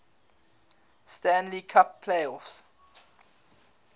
stanley cup playoffs